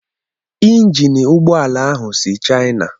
Injin ụgbọ ala ahụ si China.